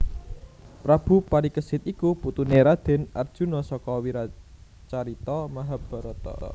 Prabu Parikesit iku putuné Radèn Arjuna saka wiracarita Mahabharata